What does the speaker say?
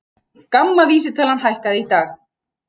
GAMMA vísitalan hækkaði í dag